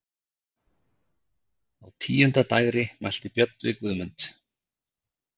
Á tíunda dægri mælti Björn við Guðmund